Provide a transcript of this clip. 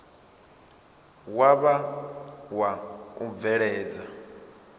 wa vha wa u bveledza